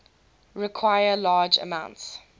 require large amounts